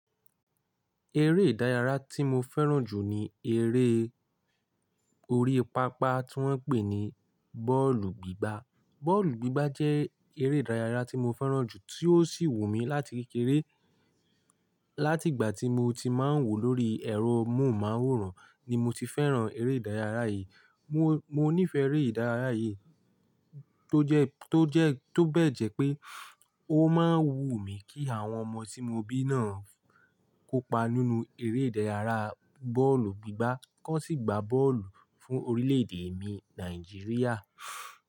Eré ìdárayá tí mo fẹ́ràn jù ni eré orí pápá tí wọ́n ń pè ní bọ́ọ̀lù gbígbá. Bọ́ọ̀lù gbígbá jẹ́ eré ìdárayá tí mo fẹ́ràn jù tí ó sì wù mí láti kékeré. Láti ìgbà tí mo ti máa ń wò lórí ẹ̀rọ móhùnmáwòrán ni mo ti fẹ́ràn eré ìdárayá yìí. Mo nífẹ̀ẹ́ eré ìdárayá yìí tó jẹ, tó jẹ, tó bẹ́ẹ̀ jẹ́ pé ó máa ń wù mí kí àwọn ọmọ tí mo bí náà kópa nínú eré ìdárayá bọ́ọ̀lù gbígbá, ki won sì gba bọ́ọ̀lù fún orílẹ̀ èdè mi Nàìjíríà.